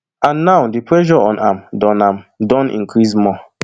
and now di pressure on am don am don increase more